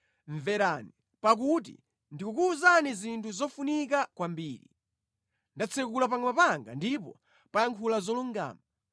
Mverani, pakuti ndikukuwuzani zinthu zofunika kwambiri; ndatsekula pakamwa panga ndipo payankhula zolungama.